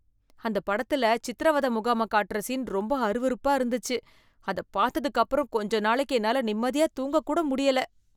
அந்தப் படத்துல சித்திரவதை முகாமைக் காட்டுற சீன் ரொம்ப அருவருப்பா இருந்துச்சு, அதைப் பாத்ததுக்கு அப்புறம் கொஞ்ச நாளைக்கு என்னால நிம்மதியா தூங்கக் கூட முடியலை